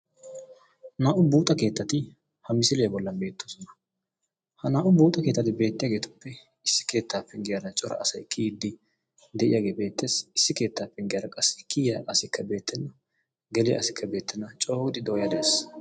Naa"u buuxxa keettati ha misiliyaa bollan beettoosona. Ha naa"u buuxxa keettati beettiyaagetuppe issi keettaa penggiyara cora asay kiyyide de'iyaage beettees. Issi keetta penggiyaara qassi kiyyiya asikka beettena geliyaa asikka beettena, coo giidi dooya de'ees.